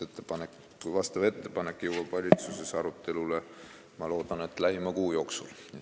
Ettepanek jõuab valitsuses arutelule, ma loodan, lähima kuu jooksul.